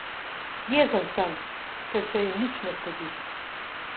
Jezen sem, ker se jim nič ne zgodi.